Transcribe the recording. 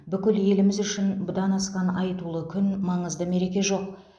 бүкіл еліміз үшін бұдан асқан айтулы күн маңызды мереке жоқ